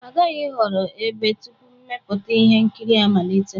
A ghaghị ịhọrọ ebe tupu mmepụta ihe nkiri amalite